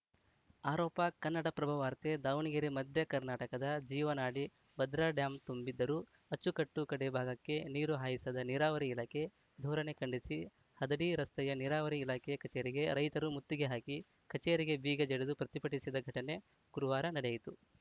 ಆರೋಪ ಕನ್ನಡಪ್ರಭವಾರ್ತೆ ದಾವಣಗೆರೆ ಮಧ್ಯ ಕರ್ನಾಟಕದ ಜೀವನಾಡಿ ಭದ್ರಾ ಡ್ಯಾಂ ತುಂಬಿದ್ದರೂ ಅಚ್ಚುಕಟ್ಟು ಕಡೇ ಭಾಗಕ್ಕೆ ನೀರು ಹಾಯಿಸದ ನೀರಾವರಿ ಇಲಾಖೆ ಧೋರಣೆ ಖಂಡಿಸಿ ಹದಡಿ ರಸ್ತೆಯ ನೀರಾವರಿ ಇಲಾಖೆ ಕಚೇರಿಗೆ ರೈತರು ಮುತ್ತಿಗೆ ಹಾಕಿ ಕಚೇರಿಗೆ ಬೀಗ ಜಡಿದು ಪ್ರತಿಭಟಿಸಿದ ಘಟನೆ ಗುರುವಾರ ನಡೆಯಿತು